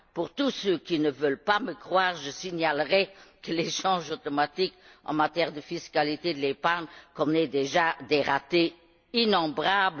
Pour tous ceux qui ne veulent pas me croire, je signalerai que l'échange automatique en matière de fiscalité de l'épargne connaît déjà des ratés innombrables.